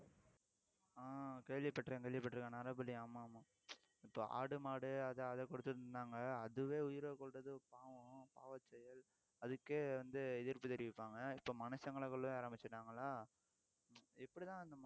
ஆஹ் கேள்விப்பட்டிருக்கேன் கேள்விப்பட்டிருக்கேன் நரபலி ஆமா ஆமா இப்போ ஆடு, மாடு அது அதை கொடுத்துட்டிருந்தாங்க அதுவே உயிரை கொல்றது பாவம் பாவச்செயல் அதுக்கே வந்து எதிர்ப்பு தெரிவிப்பாங்க இப்ப மனுஷங்களை கொல்லவே ஆரம்பிச்சுட்டாங்களா எப்படிதான்